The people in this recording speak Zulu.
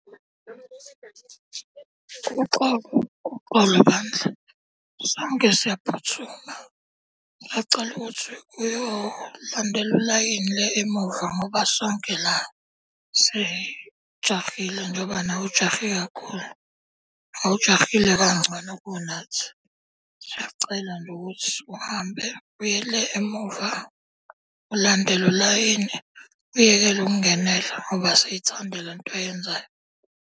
Uxolo, uxolo bandla, sonke siyaphuthuma. Sisacela ukuthi uyolandela ulayini le emuva ngoba sonke la sijahile njengoba nawe ujahe kakhulu. Awujahile kangcono kunathi. Siyacela nje ukuthi uhambe uye le emuva, ulandele ulayini, uyekele ukungenela ngoba asithandi lento oyenzayo.